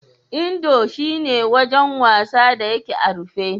Indo shi ne wajen wasa da yake a rufe.